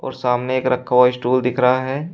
सामने एक रखा हुआ स्टूल दिख रहा है।